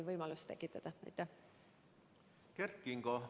Kert Kingo, palun!